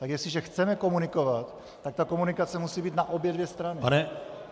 Tak jestliže chceme komunikovat, tak ta komunikace musí být na obě dvě strany.